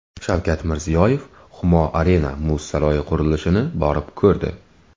Shavkat Mirziyoyev Humo Arena muz saroyi qurilishini borib ko‘rdi.